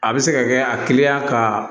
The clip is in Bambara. A bɛ se ka kɛ a teliya ka